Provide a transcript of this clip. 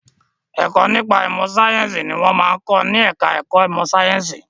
Ẹ̀kọ́ nípa ìmọ̀ sáyẹ̀nsì ni wọ́n máa ń kọ́ ní ẹ̀ka ẹ̀kọ́ ìmọ sàyẹ̀nsì.